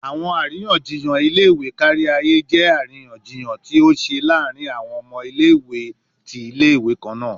Awọn ariyanjiyan ile-iwe kariaye jẹ ariyanjiyan ti o ṣe laarin awọn ọmọ ile-iwe ti ile-iwe kanna